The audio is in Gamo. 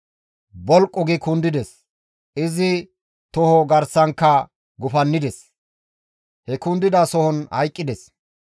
Bolqu gi kundides; izi toho garsankka gufannides; he kundida sohon hayqqides.